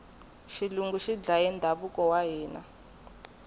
xilungu xi dlaye ndhavuko wa hina